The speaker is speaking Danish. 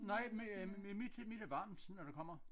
Nej mit øh mit mit er varmt når det kommer